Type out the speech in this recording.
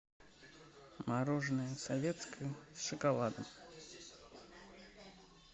мороженое советское с шоколадом